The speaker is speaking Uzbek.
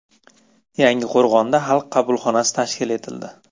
Yangiqo‘rg‘onda Xalq qabulxonasi tashkil etildi.